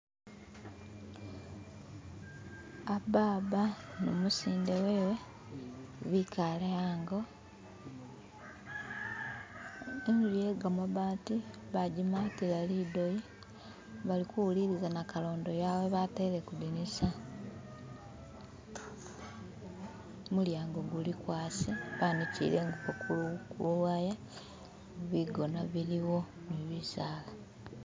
Ababa numusinde wewe bikale hango imuli yegamabati bajimatila lidoyi balikuwuliliza nakalondo yawe batele kudinisa mulyango gulikwasi banikile ingubo ku kuluwaya bigona biliwo ni bisaala